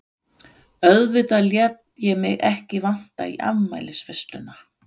Auðvitað lét ég mig ekki vanta í afmælisveisluna.